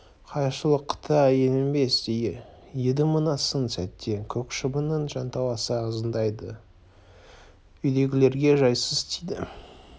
жайшылықта еленбес еді мына сын сәтте көк шыбынның жанталаса ызыңдауы үйдегілерге жайсыз тиді